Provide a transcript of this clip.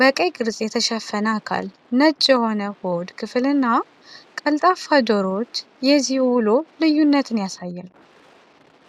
በቀይ ቅርጽ የተሸፈነ አካል፣ ነጭ የሆነ የሆድ ክፍል እና ቀልጣፋ ጆሮዎች የዚህ ውሎ ልዩነትን ያሳያል።